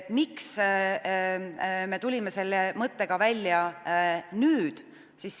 Miks me tulime selle mõttega välja nüüd?